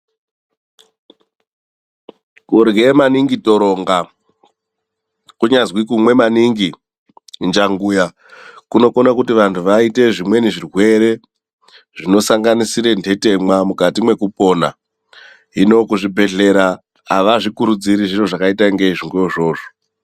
Kurye maningi toronga kunyazi kunwa maningi njanguya kunokona kuti vantu vamweni vaite zvirwere zvinosanganisira nhetemwa mukati mekupona. Hino kuzvibhedhlera havazvikurudziri zviro zvakaita kunge izvona izvozvo.